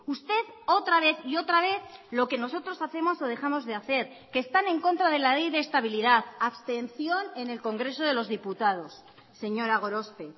usted otra vez y otra vez lo que nosotros hacemos o dejamos de hacer que están en contra de la ley de estabilidad abstención en el congreso de los diputados señora gorospe